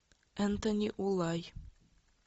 энтони улай